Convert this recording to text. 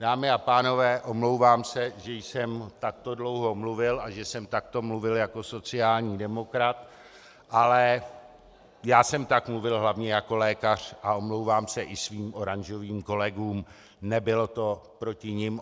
Dámy a pánové, omlouvám se, že jsem takto dlouho mluvil a že jsem takto mluvil jako sociální demokrat, ale já jsem tak mluvil hlavně jako lékař a omlouvám se i svým oranžovým kolegům - nebylo to proti nim.